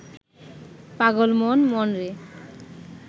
পাগল মন মনরে